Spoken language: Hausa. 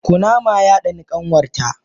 Kunama ya Dani kanwarta.